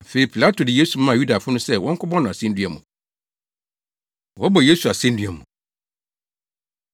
Afei Pilato de Yesu maa Yudafo no sɛ wɔnkɔbɔ no asennua mu. Wɔbɔ Yesu Asennua Mu